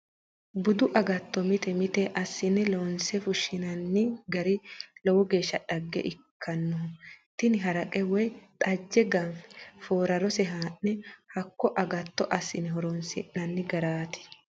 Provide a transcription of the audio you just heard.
Budu agatto mite mite assine loonse fushinanni gari lowo geeshsha dhagge ikkanoho, tini haraqe woyi xaje ganfe foorarose haa'ne hakko agatto assine horonsi'nanni garati.